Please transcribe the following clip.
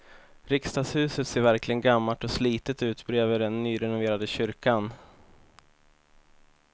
Riksdagshuset ser verkligen gammalt och slitet ut bredvid den nyrenoverade kyrkan.